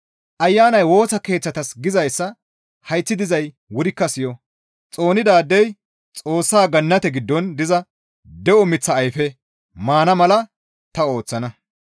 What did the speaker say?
«Ayanay Woosa Keeththatas gizayssa hayththi dizay wurikka siyo! ‹Xoonidaadey Xoossa Gannate giddon diza de7o miththa ayfe maana mala ta ooththana.›